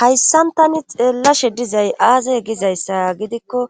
hayssan tani xeellashe dizay aazay gizayssa gidikko